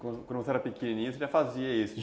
Quando quando você era pequenininho você já fazia isso?